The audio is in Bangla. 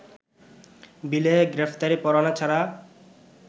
বিলে গ্রেপ্তারি পরোয়ানা ছাড়া